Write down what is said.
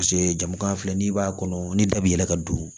Paseke jamukan filɛ n'i b'a kɔnɔ ni da b'i yɛlɛ ka don